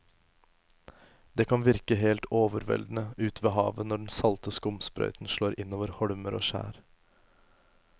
Det kan virke helt overveldende ute ved havet når den salte skumsprøyten slår innover holmer og skjær.